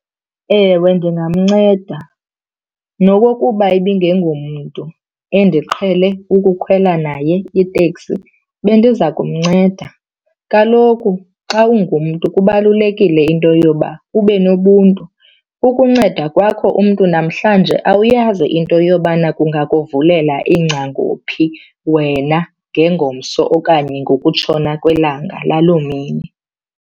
Ewe ndingamnceda nokokuba ibingengomntu endiqhele ukukhwela naye iteksi bendiza kumnceda. Kaloku xa ungumntu kubalulekile into yoba ube nobuntu. Ukunceda kwakho umntu namhlanje awuyazi into yobana kungakuvulela iingcango phi wena ngengomso okanye ngokutshona kwelanga laloo mini.